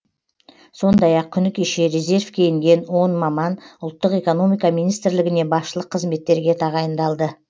сондай ақ күні кеше резервке енген он маман ұлттық экономика министрлігіне басшылық қызметтерге тағайындалды